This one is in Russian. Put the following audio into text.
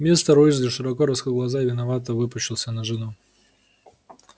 мистер уизли широко раскрыл глаза и виновато выпучился на жену